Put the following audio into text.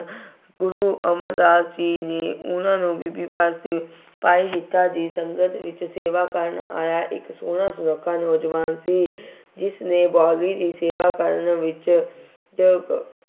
ਗੁਰੂ ਅਮਰਦਾਸ ਜੀ ਨੇ ਉਹਨਾ ਨੂੰ ਬੀਬੀ ਭਾਨੀ, ਭਾਈ ਜੇਠਾ ਜੀ ਸੰਗਤ ਵਿੱਚ ਸੇਵਾ ਕਰਨ ਆਇਆ ਇੱਕ ਸੋਹਣਾ ਸੁਨੱਖਾ ਨੌਜਵਾਨ ਸੀ। ਜਿਸਨੇ ਬਾਊਲੀ ਦੀ ਸੇਵਾ ਕਰਨ ਵਿੱਚ ਚ ਅਹ